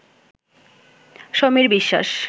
Samir Biswas